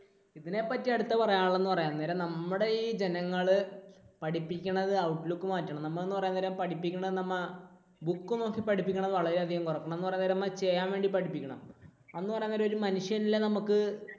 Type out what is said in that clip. ഇതിനെപ്പറ്റി അടുത്തത് പറയാനുള്ളത് എന്ന് പറയാൻ നേരം നമ്മുടെ ഈ ജനങ്ങൾ പഠിപ്പിക്കണത് outlook മാറ്റണം. നമ്മൾ എന്ന് പറയാൻ നേരം പഠിപ്പിക്കുന്നത് നമ്മൾ book നോക്കി പഠിപ്പിക്കുന്നത് വളരെയധികം കുറയ്ക്കണം. എന്ന് പറയാൻ നേരം ചെയ്യാൻ വേണ്ടി പഠിപ്പിക്കണം. എന്ന് പറയാൻ നേരം ഒരു മനുഷ്യനിൽ നമുക്ക്